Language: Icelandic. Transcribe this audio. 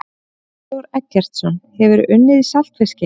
Brynjar Þór Eggertsson Hefurðu unnið í saltfiski?